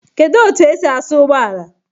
Kedụ etu esi asa ụgbọala?